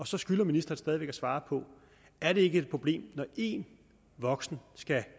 så skylder ministeren stadig væk at svare på er det ikke et problem når en voksen skal